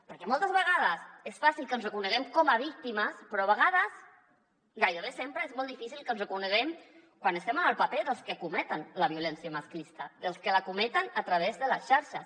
perquè moltes vegades és fàcil que ens reconeguem com a víctimes però a vegades gairebé sempre és molt difícil que ens reconeguem quan estem en el paper dels que cometen la violència masclista dels que la cometen a través de les xarxes